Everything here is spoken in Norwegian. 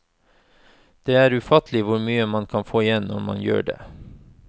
Det er ufattelig hvor mye man får igjen når man gjør det.